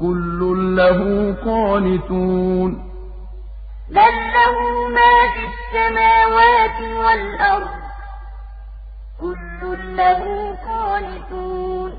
كُلٌّ لَّهُ قَانِتُونَ وَقَالُوا اتَّخَذَ اللَّهُ وَلَدًا ۗ سُبْحَانَهُ ۖ بَل لَّهُ مَا فِي السَّمَاوَاتِ وَالْأَرْضِ ۖ كُلٌّ لَّهُ قَانِتُونَ